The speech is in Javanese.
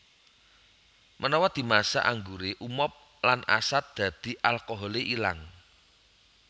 Menawa dimasak angguré umob lan asat dadi alkoholé ilang